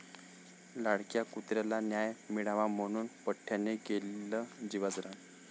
लाडक्या कुत्र्याला न्याय मिळावा म्हणून पठ्ठयानं केलं जीवाचं रान!